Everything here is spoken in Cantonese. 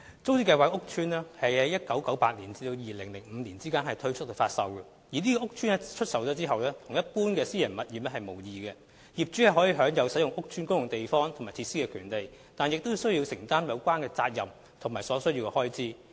租置屋邨在1998年至2005年之間推出發售，這些屋邨出售後，與一般私人物業無異，業主享有使用屋邨公共地方和設施的權利，但亦須承擔有關責任及所需開支。